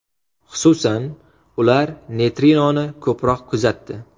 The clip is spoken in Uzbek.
Xususan, ular neytrinoni ko‘proq kuzatdi.